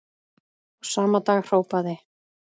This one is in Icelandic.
Og sama dag hrópaði